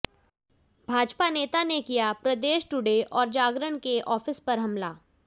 भाजपा नेता ने किया प्रदेश टुडे और जागरण के आफिस पर हमला